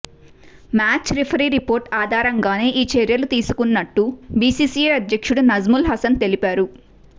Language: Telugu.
మ్యాచ్ రిఫరీ రిపోర్టు ఆధారంగానే ఈ చర్యలు తీసుకున్నట్టు బీసీబీ అధ్యక్షుడు నజ్ముల్ హసన్ తెలిపారు